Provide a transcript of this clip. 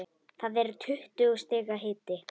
Það er tuttugu stiga hiti.